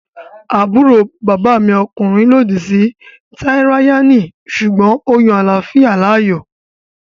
Àbúrò bàbá mi ọkùnrin lòdì sí tíráyánì sùgbọ́n ó yan àláfíà láàyò